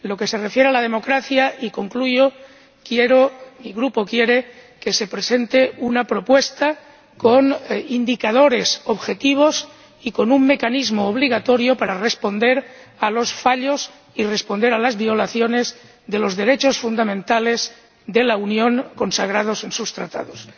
En lo que se refiere a la democracia, y concluyo, quiero —mi Grupo quiere— que se presente una propuesta con indicadores objetivos y con un mecanismo obligatorio para responder a los fallos y a las violaciones de los derechos fundamentales de la Unión, consagrados en sus Tratados.